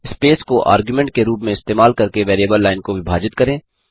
space को argument के रूप में इस्तेमाल करके वेरिएबल लाइन को विभाजित करें